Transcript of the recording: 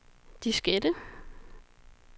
diskette